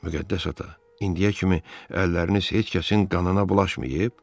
Müqəddəs ata, indiyə kimi əlləriniz heç kəsin qanına bulaşmayıb?